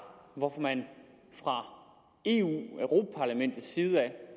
hvorfor man fra eus